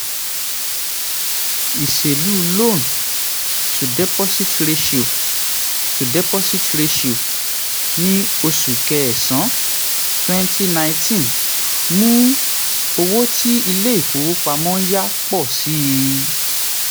ìṣèlú loan to deposit ratio to deposit ratio ní oṣù kẹsàn-án twenty nineteen mú owó tí ilé ìfowópamọ́ ń yá pọ̀ sí i.